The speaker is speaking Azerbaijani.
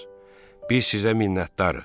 Biz sizə minnətdarıq.